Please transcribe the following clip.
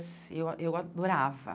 Eu eu adorava.